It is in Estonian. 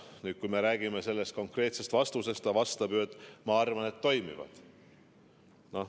" No kui me räägime sellest konkreetsest vastusest, siis ta vastab ju: "Ma arvan, et toimivad.